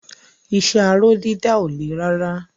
Iṣẹ́ aró dídà ò le rárá.